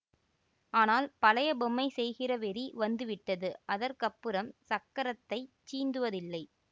ஆனால் பழைய பொம்மை செய்கிற வெறி வந்துவிட்டது அதற்கப்புறம் சக்கரத்தைச் சீந்துவதில்லை